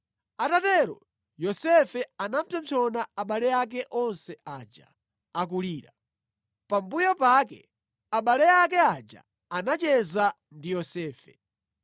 Atatero, Yosefe anapsompsona abale ake onse aja, akulira. Pambuyo pake abale ake aja anacheza ndi Yosefe.